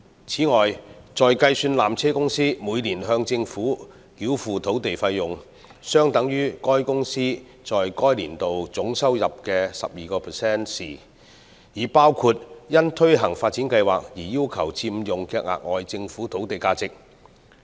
此外，在計算纜車公司每年向政府繳付的土地費用，相等於該公司在該年度總收入的 12% 時，已包括因推行發展計劃而要求佔用的額外政府土地價值。